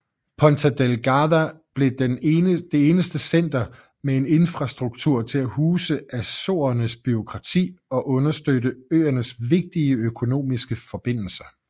Ponta Delgada blev det eneste center med en infrastruktur til at huse Azorernes bureaukrati og understøtte øernes vigtige økonomiske forbindelser